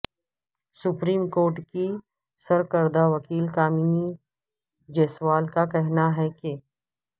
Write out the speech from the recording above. supreme court کی سرکردہ وکیل کامنی جیسوال کا کہنا ہے کہ